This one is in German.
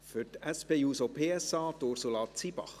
Für die SP-JUSO-PSA, Ursula Zybach.